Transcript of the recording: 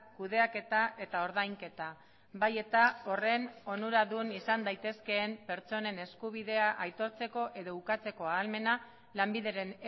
kudeaketa eta ordainketa bai eta horren onura dun izan daitezkeen pertsonen eskubidea aitortzeko edo ukatzeko ahalmena lanbideren